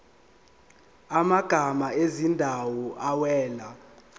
amagama ezindawo awela